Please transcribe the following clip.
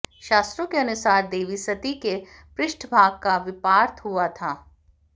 शास़्त्रों के अनुसार देवी सती के पृष्ठभाग का विपार्थ हुआ था